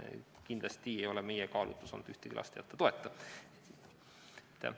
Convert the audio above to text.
Kindlasti ei ole meie kaalutlus olnud ühegi lapse toeta jätmine.